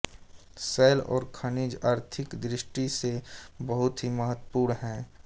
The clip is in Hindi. शैल और खनिज आर्थिक दृष्टि से बहुत ही महत्वपूर्ण हैं